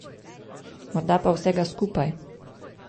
Morda pa vsega skupaj.